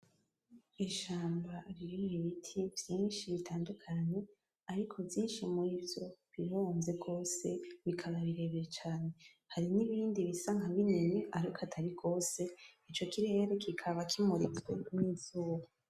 Ishamba ririmwo ibiti vyinshi bitandukanye, ariko vyinshi muri vyo bironze gose bikaba birebire cane, hari nibindi bisa nkabinini ariko atari gose, ico kirere kikaba kimuritswe n'izuba.